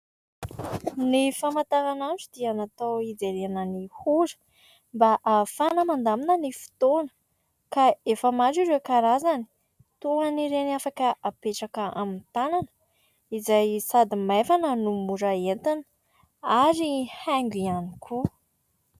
Ny famataran'andro dia natao hijerena ny ora mba ahafahana mandamina ny fotoana ka efa maro ireo karazana toan'ireny afaka apetraka amin'ny tanana izay sady maivana no mora entina ary haingo ihany koa.